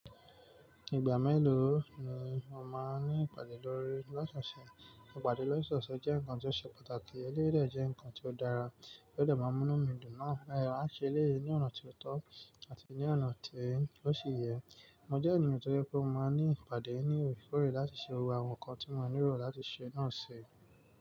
Ìgbà mélòó ni o máa ní ìpàdé lọ́sọ̀ọ̀sẹ̀? Ìpàdé Lọ́sọ̀ọ̀sẹ̀ jẹ́ nǹkan tó ṣe pàtàkì, eléyi dè jẹ́ nǹkan tó dára, eléyi dè máa n mú mí dùn náà. Rárá, a ṣe eléyìí ní ọ̀na tí ó tọ́ àti ní ọ̀na tí ó ṣe yẹ. Mo jẹ́ ènìyàn tó je pé mo máa ní ìpàdé ní òrekoòrè láti ṣe àwọn nǹkan tí mo nílò láti ṣe náà ṣi.